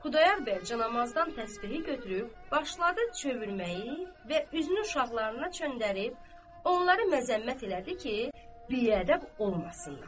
Xudayar bəy camaazdan təsbehi götürüb başladı çöndərməyi və üzünü uşaqlarına çöndərib onları məzəmmət elədi ki, biədəb olmasınlar.